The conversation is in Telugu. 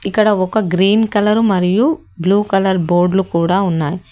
ఇక్కడ ఒక గ్రీన్ కలర్ మరియు బ్లూ కలర్ బోర్డులు కూడా ఉన్నాయి.